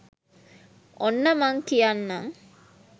ඔන්න මං කියන්නං